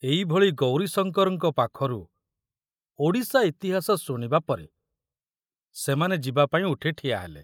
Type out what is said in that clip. ଏଇଭଳି ଗୌରୀଶଙ୍କରଙ୍କ ପାଖରୁ ଓଡ଼ିଶା ଇତିହାସ ଶୁଣିବା ପରେ ସେମାନେ ଯିବାପାଇଁ ଉଠି ଠିଆ ହେଲେ।